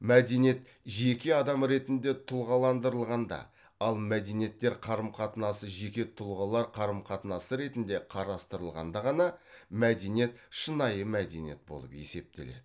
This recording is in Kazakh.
мәдениет жеке адам ретінде тұлғаландырылғанда ал мәдениеттер қарым қатынасы жеке тұлғалар қарым қатынасы ретінде қарастырылғанда ғана мәдениет шынайы мәдениет болып есептеледі